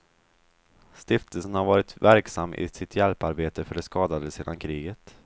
Stiftelsen har varit verksam i sitt hjälparbete för de skadade sedan kriget.